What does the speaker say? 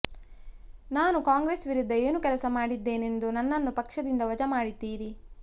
ನಾನು ಕಾಂಗ್ರೆಸ್ ವಿರುದ್ಧ ಏನು ಕೆಲಸ ಮಾಡಿದ್ದೇನೆಂದು ನನ್ನನ್ನು ಪಕ್ಷದಿಂದ ವಜಾ ಮಾಡಿದ್ದೀರಿ